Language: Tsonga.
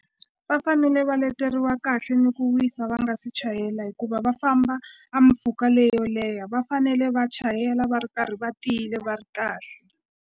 Va fanele va leteriwa kahle ni ku wisa va nga se chayela hikuva va famba a mimpfhuka leyo leha va fanele va chayela va ri karhi va tiyile va ri kahle.